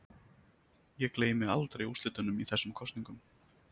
Ég gleymi aldrei úrslitunum í þessum kosningum.